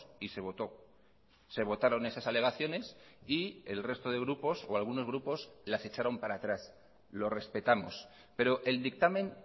y se votó se votaron esas alegaciones y el resto de grupos o algunos grupos las echaron para atrás lo respetamos pero el dictamen